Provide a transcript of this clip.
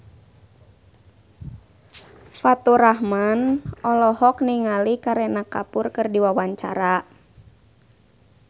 Faturrahman olohok ningali Kareena Kapoor keur diwawancara